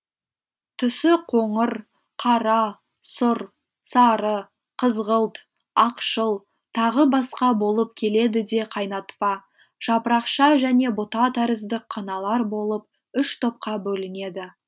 түсі қоңыр қара сұр сары қызғылт ақшыл тағы басқа болып келеді де қайнатпа жапырақша және бұта тәрізді қыналар болып үш топқа бөлінеді